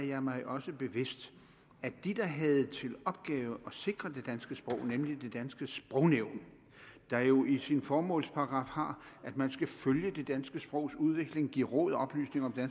jeg mig også bevidst at de der havde til opgave at sikre det danske sprog nemlig det danske sprognævn der jo i sin formålsparagraf har at man skal følge det danske sprogs udvikling give råd og oplysning om det